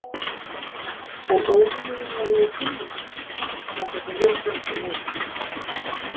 En óvinurinn var nú í hinni áttinni, þangað sem við stefndum óðum.